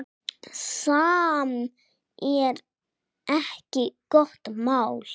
Sem er ekki gott mál.